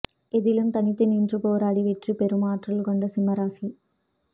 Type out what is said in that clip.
எதிலும் தனித்து நின்று போராடி வெற்றி பெறும் ஆற்றல் கொண்ட சிம்ம ராசி